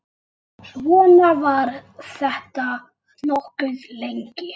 Svona var þetta nokkuð lengi.